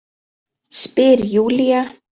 Spyr Júlía.